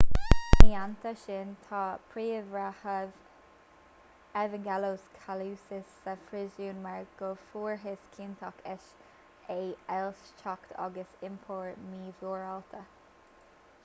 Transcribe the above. ina theannta sin tá príomhbhreitheamh evangelos kalousis sa phríosún mar go bhfuarthas ciontach é as éillitheacht agus iompar mímhorálta